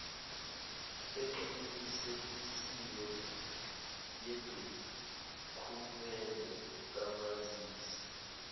eqinisekisiwe yedokhumende kamazisi